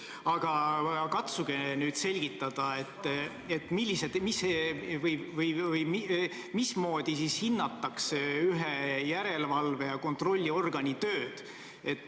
Aga katsuge nüüd selgitada, mismoodi siis hinnatakse ühe järelevalve- ja kontrollorgani tööd.